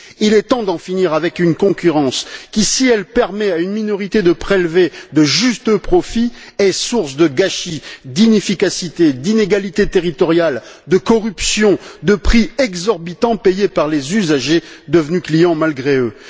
Il est temps d'en finir avec une concurrence qui, si elle permet à une minorité de prélever de justes profits, est source de gâchis, d'inefficacité, d'inégalités territoriales, de corruption, de prix exorbitants payés par les usagers, devenus clients malgré eux.